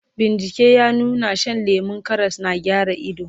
bincike ya nuna Shan lemun Karas na gyara ido